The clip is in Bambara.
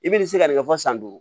I bɛna se ka nin kɛ fɔ san duuru